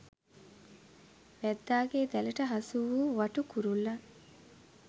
වැද්දාගේ දැලට හසු වූ වටු කුරුල්ලන්